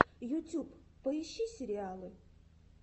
ютюб поищи сериалы